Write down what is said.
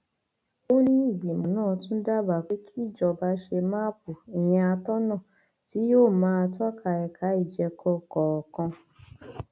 ṣùgbọn ní báyìí àwọn ọlọpàá ni àwọn ti dóòlà ẹmí rẹ láì san owó ìtúsílẹ kankan